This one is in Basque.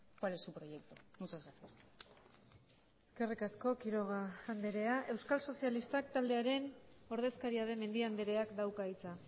cuál es su proyecto muchas gracias eskerrik asko quiroga andrea euskal sozialistak taldearen ordezkaria den mendia andreak dauka hitza